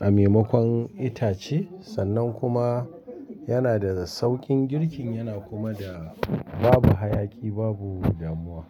a maimakon itace. Sannan kuma yana da sauƙin girkin, yana kuma da babu hayaki, babu damuwa.